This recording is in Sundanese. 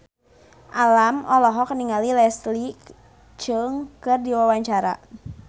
Alam olohok ningali Leslie Cheung keur diwawancara